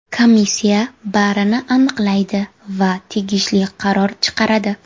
Komissiya barini aniqlaydi va tegishli qaror chiqaradi.